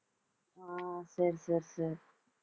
ஆஹ் சரி சரி சரி